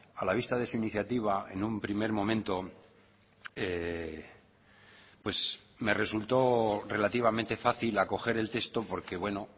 a la vista de su iniciativa en un primer momento pues me resultó relativamente fácil acoger el texto porque bueno